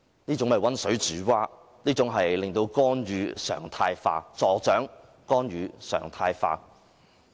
這種溫水煮蛙的方法令干預"常態化"，亦助長了干預"常態化"。